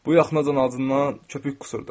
Bu yaxınacan acından köpük qusurdu.